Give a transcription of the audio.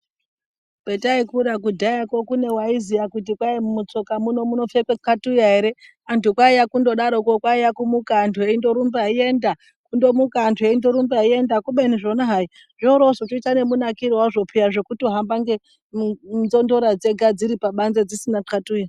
Pataikura kudhayako kune aiziva kuti mutsoka muno munopfekwa katuya ere kwaive kuyambuka kwaive kumuka eingorumba eienda ubeni zvona hai zvoita nemunakiro wazvo zvekutohamba nenzondora dziri pabanze dzisina kwatura.